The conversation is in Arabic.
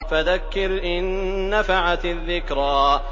فَذَكِّرْ إِن نَّفَعَتِ الذِّكْرَىٰ